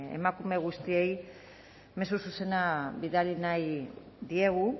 emakume guztiei mezu zuzena bidali nahi diegu